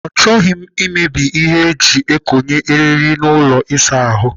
Achọghị m imebi ihe eji ekonye eriri n'ụlọ ịsa ahụ.